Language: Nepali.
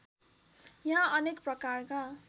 यहाँ अनेक प्रकारका